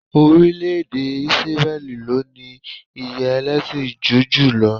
Orílẹ̀-èdè Ísírẹ́lì ló ní iye ẹlẹ́sìn júù jùlọ